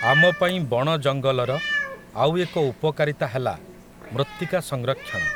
ଆମପାଇଁ ବଣ ଜଙ୍ଗଲର, ଆଉ ଏକ ଉପକାରିତା ହେଲା, ମୃତ୍ତିକା ସଂରକ୍ଷଣ ।